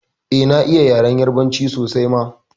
Eh na iya yaren yarbanci sosai ma